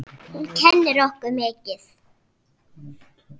Hún kennir okkur mikið.